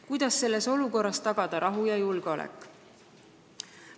Kuidas tagada selles olukorras rahu ja julgeolek?